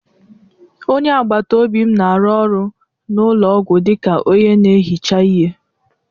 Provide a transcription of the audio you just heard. Onye agbata obi m na-arụ ọrụ n'ụlọ ọgwụ dịka onye na-ehicha ihe.